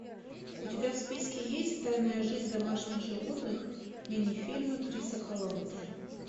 у тебя в списке есть тайная жизнь домашних животных минифильма криса коламбуса